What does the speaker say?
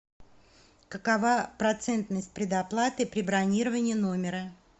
какова процентность предоплаты при бронировании номера